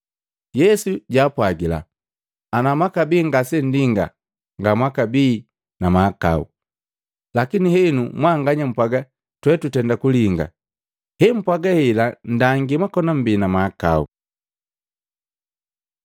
Yesu jaapwagila, “Ana mwakabii ngasenndinga ngamwakabii na mahakau, lakini henu mwanganya mpwaaga, twe tutenda kulinga, hempwaga hela nndangi mwakona mbii na mahakao.”